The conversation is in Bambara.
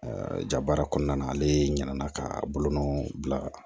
jabaara kɔnɔna ale ɲinɛna ka bolonɔ bila